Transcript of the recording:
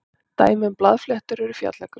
dæmi um blaðfléttur eru fjallagrös